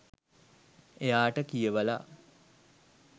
එයාට කියවලා